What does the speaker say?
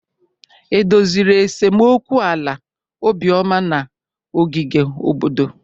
E doziri esemokwu ala Obioma na ogige obodo?